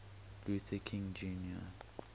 luther king jr